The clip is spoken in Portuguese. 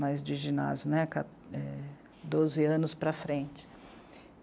mais de ginásio, né? Ca... é... Doze anos para frente.